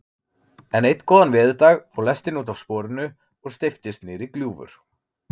En einn góðan veðurdag fór lestin útaf sporinu og steyptist niðrí gljúfur.